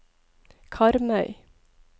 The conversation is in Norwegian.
Karmøy